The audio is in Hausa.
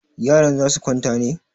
Yaran za su kwanta ne?